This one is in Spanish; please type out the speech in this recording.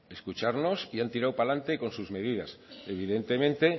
escucharnos y han tirado para adelante con sus medidas evidentemente